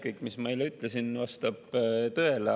Kõik, mis ma eile ütlesin, vastab tõele.